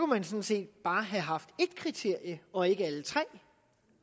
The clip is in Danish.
man sådan set bare have haft et kriterium og ikke tre